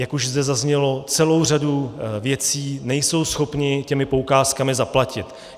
Jak už zde zaznělo, celou řadu věcí nejsou schopni těmi poukázkami zaplatit.